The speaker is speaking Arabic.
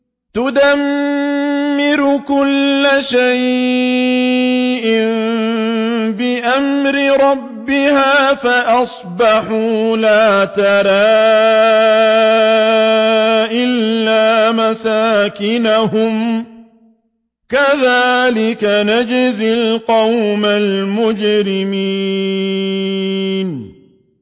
تُدَمِّرُ كُلَّ شَيْءٍ بِأَمْرِ رَبِّهَا فَأَصْبَحُوا لَا يُرَىٰ إِلَّا مَسَاكِنُهُمْ ۚ كَذَٰلِكَ نَجْزِي الْقَوْمَ الْمُجْرِمِينَ